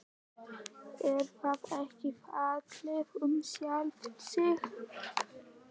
Er það ekki fallið um sjálft sig?